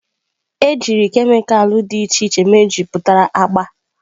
Ejiri kemịkalụ dị iche iche mejupụtara agba.